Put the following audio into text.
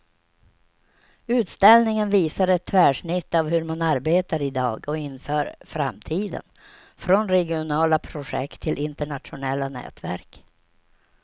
Utställningen visar ett tvärsnitt av hur man arbetar i dag och inför framtiden, från regionala projekt till internationella nätverk.